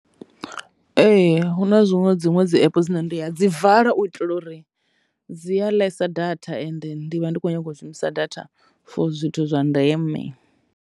Ee, hu na zwiṅwe dziṅwe dzi app dzine nda dzi vala u itela uri dzi a ḽesa data ende ndi vha ndi kho nyaga u shumisa data for zwithu zwa ndeme.